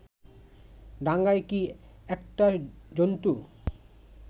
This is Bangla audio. ডাঙায় কি একটা জন্তু